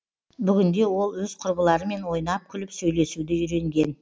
бүгінде ол өз құрбыларымен ойнап күліп сөйлесуді үйренген